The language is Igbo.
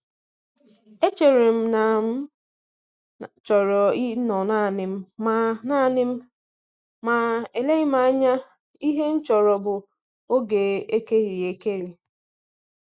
Echere m na m chọrọ ịnọ naanị m, ma naanị m, ma eleghị anya ihe m chọrọ bụ oge a ekerịrị ekerị.